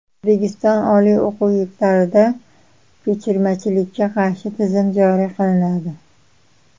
O‘zbekiston oliy o‘quv yurtlarida ko‘chirmachilikka qarshi tizim joriy qilinadi.